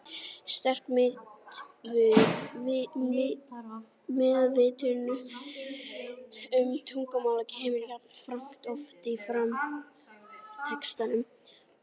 Sterk meðvitund um tungumálið kemur jafnframt oft fram í textanum.